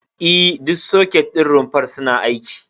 E, duka soket ɗin rumfar suna aiki.